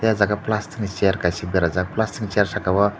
oro jaga plastic ni chair kaisa berajak plastic ni chair saka o.